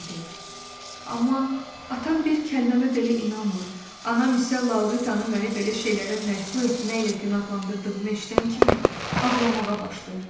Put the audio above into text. Amma atam bir kəlməmə belə inanmır, anam isə Lauritanı məni belə şeylərə məcbur etməklə günahlandırdığımı eşidən kimi ağlamağa başlayır.